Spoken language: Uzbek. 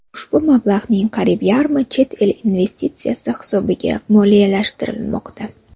Ushbu mablag‘ning qariyb yarmi chet el investitsiyasi hisobiga moliyalashtirilmoqda.